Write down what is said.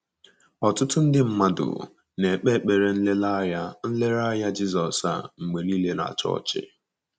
Ọtụtụ nde mmadụ na-ekpe ụdị ekpere nlereanya nlereanya Jizọs a mgbe nile na chọọchị.